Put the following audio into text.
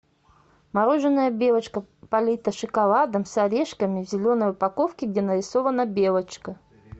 мороженое белочка полито шоколадом с орешками в зеленой упаковке где нарисована белочка